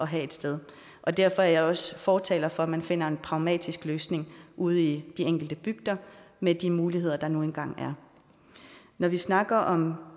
have et sted derfor er jeg også fortaler for at man finder en pragmatisk løsning ude i de enkelte bygder med de muligheder der nu engang er når vi snakker om